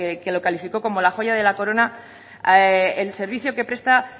que lo calificó como la joya de la corona el servicio que presta